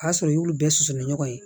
O y'a sɔrɔ i y'olu bɛɛ susu ni ɲɔgɔn ye